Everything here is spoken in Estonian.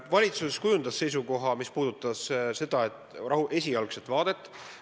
Valitsus kujundas seisukoha, mis puudutas esialgset vaadet.